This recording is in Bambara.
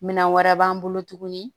Minan wɛrɛ b'an bolo tuguni